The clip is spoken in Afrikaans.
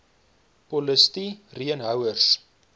polisti reen houers